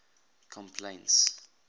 complaints